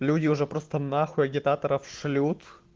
люди уже просто нахуй агитаторов шлют